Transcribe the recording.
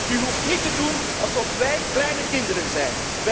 U hoeft niet te doen alsof wij kleine kinderen zijn!